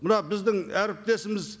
мына біздің әріптесіміз